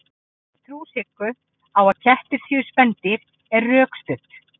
trú siggu á að kettir séu spendýr er rökstudd